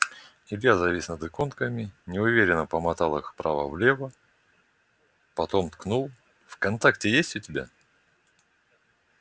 илья завис над иконками неуверенно помотал их вправо-влево потом ткнул вконтакте есть у тебя